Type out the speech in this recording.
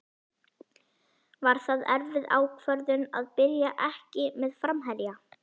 Var það erfið ákvörðun að byrja ekki með framherja?